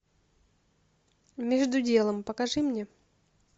между делом покажи мне